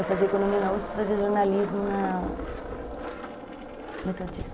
Eu fazia Economia na uspi e fazia Jornalismo na Metodista.